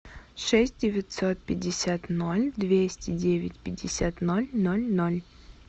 шесть девятьсот пятьдесят ноль двести девять пятьдесят ноль ноль ноль